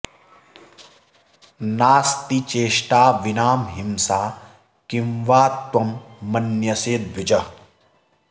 नास्ति चेष्टा विना हिंसां किं वा त्वं मन्यसे द्विज